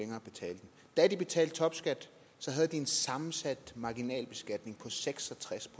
da de betalte topskat havde de en sammensat marginalbeskatning på seks og tres